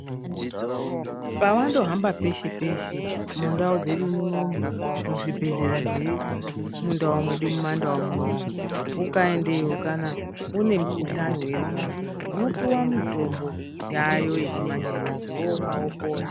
Pawandohamba peshe -peshe mundau dzedu munomu , muzvibhedhleya zvee mundau medu mumandau munomu, ukaendeyo kana, une mukhuhlani weirwara, unopiwa mitombo yaayo yechimanje-manje ,womwa wopona.